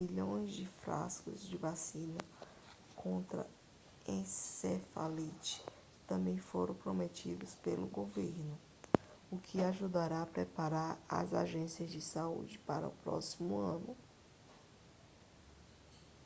milhões de frascos de vacina contra encefalite também foram prometidos pelo governo o que ajudará a preparar as agências de saúde para o próximo ano